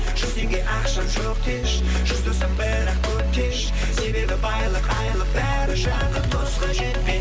жүзіңе ақша жоқ деші жүз досым бірақ көп деші себебі байлық айлық бәрі жақын досқа